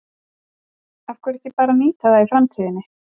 Af hverju ekki bara að nýta það í framtíðinni?